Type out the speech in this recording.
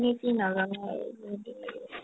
কি নাজানো আৰু যদি